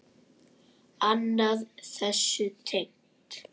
Annað þessu tengt.